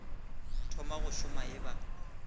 thoma go šoma e ba